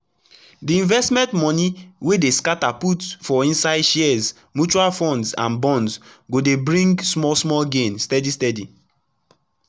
d investment moni wey dey scata put for inside shares mutual funds and bonds go dey bring small small gain steady steady